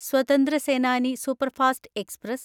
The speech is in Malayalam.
സ്വതന്ത്ര സേനാനി സൂപ്പർഫാസ്റ്റ് എക്സ്പ്രസ്